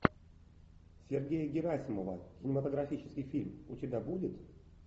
сергея герасимова кинематографический фильм у тебя будет